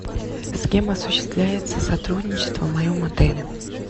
с кем осуществляется сотрудничество в моем отеле